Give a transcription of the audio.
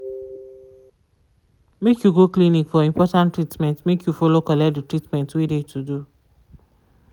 make you go clinic for important treatment make you follow collect de treatment wey de to do.